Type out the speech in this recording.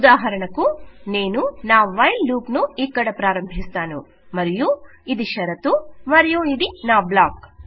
ఉదాహరణకు నేను నా వైల్ లూప్ ను ఇక్కడ ప్రారంభిస్తాను మరియు ఇది షరతు మరియు ఇది నా బ్లాక్